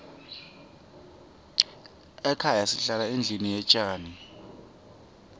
ekhaya sihlala endlini yetjani